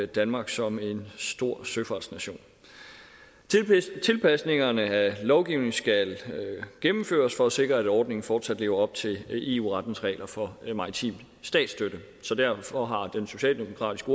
danmark som en stor søfartsnation tilpasningerne af lovgivningen skal gennemføres for at sikre at ordningerne fortsat lever op til eu rettens regler for maritim statsstøtte derfor har den socialdemokratiske